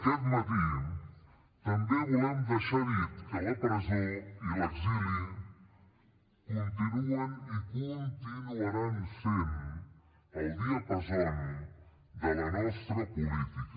aquest matí també volem deixar dit que la presó i l’exili continuen i continuaran sent el diapasó de la nostra política